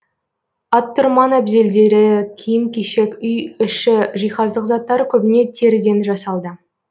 аттұрман әбзелдері киім кешек үй іші жиһаздық заттары көбіне теріден жасалды